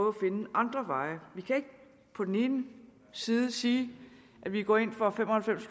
at finde andre veje vi kan ikke på den ene side sige at vi går ind for fem og halvfems